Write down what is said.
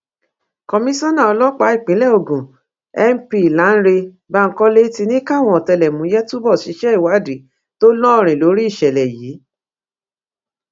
komisanna ọlọpàá ìpínlẹ ogun np lánrẹ bankole ti ní káwọn ọtẹlẹmúyẹ túbọ ṣiṣẹ ìwádìí tó lóòrín lórí ìṣẹlẹ yìí